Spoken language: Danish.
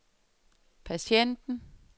patienten